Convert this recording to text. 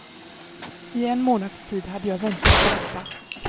I en månads tid hade jag väntat på detta.